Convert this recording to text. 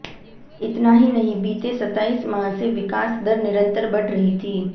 इतना ही नहीं बीते सताईस माह से विकास दर निरंतर बढ़ रही थी